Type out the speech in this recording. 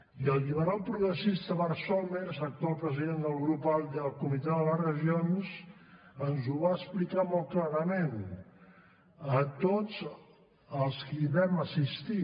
i el lliberal progressista bart somers actual president del grup alde al comitè de les regions ens ho va explicar molt clarament a tots els qui hi vam assistir